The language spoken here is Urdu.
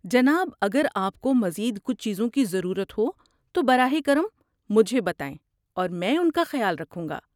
جناب، اگر آپ کو مزید کچھ چیزوں کی ضرورت ہو تو براہ کرم مجھے بتائیں اور میں ان کا خیال رکھوں گا۔